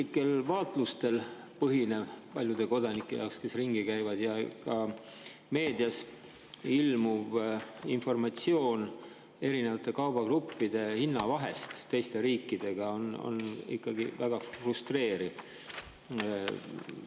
Paljud kodanikud reisivad ringi ja nende isiklikel vaatlustel põhinev ja ka meedias ilmuv informatsioon erinevate kaubagruppide hinnavahe kohta teiste riikide on ikkagi väga frustreeriv.